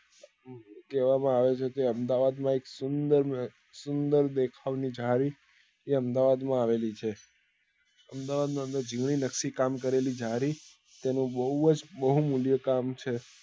કેવા માં આવે છે કે અમદાવાદ માં એક સુંદર મ સુંદર દેખાવ ની જાળી ને અમદાવાદ માં આવેલી છે અમદાવાદ ની અંદર જૂની નકશી કામ કરેલી જાળી તેની બઉ જ બહુમુલ્ય કામ છે